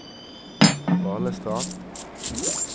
Balestrand